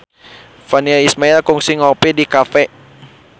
Virnie Ismail kungsi ngopi di cafe